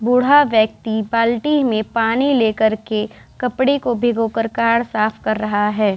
बूढ़ा व्यक्ति बाल्टी में पानी लेकर के कपड़े को भिगो करके कार को साफ कर रहा है।